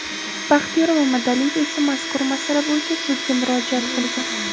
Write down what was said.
Baxtiyor Mamadaliyev esa mazkur masala bo‘yicha sudga murojaat qilgan.